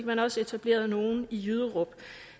man også etableret nogle i jyderup